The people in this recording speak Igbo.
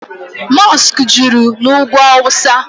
mọskụ juru na ugwu awụsa.